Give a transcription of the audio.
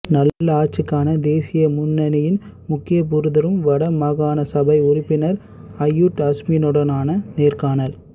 நல்லாட்சிக்கான தேசிய முன்னணியின் முக்கியஸபுதரும் வட மாகாண சபை உறுப்பினர் அய்யூப் அஸ்மினுடனான நேர்காணல்